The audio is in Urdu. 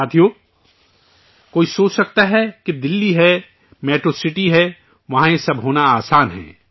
ساتھیو، کوئی سوچ سکتا ہے کہ دہلی ہے، میٹرو سٹی ہے، وہاں یہ سب ہونا آسان ہے